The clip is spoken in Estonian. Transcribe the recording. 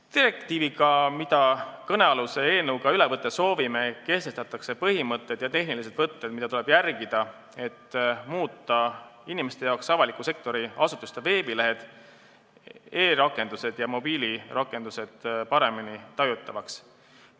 Direktiiviga, mida kõnealuse eelnõuga üle võtta soovime, kehtestatakse põhimõtted ja tehnilised võtted, mida tuleb järgida, et muuta inimeste jaoks avaliku sektori asutuste veebilehed, e-rakendused ja mobiilirakendused paremini tajutavaks.